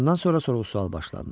Bundan sonra sorğu-sual başlandı.